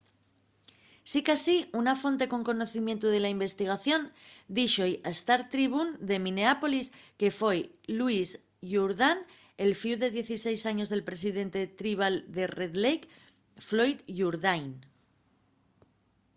sicasí una fonte con conocimientu de la investigación díxo-y al star-tribune de minneapolis que foi louis jourdan el fíu de 16 años del presidente tribal de red lake floyd jourdain